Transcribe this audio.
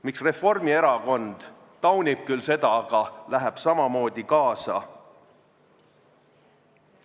Miks Reformierakond küll taunib seda, aga läheb samamoodi kaasa?